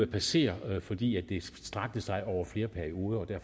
passere fordi det strakte sig over flere perioder og det